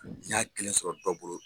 N y'a kelen sɔrɔ dɔ bolo